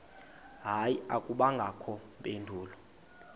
hayi akubangakho mpendulo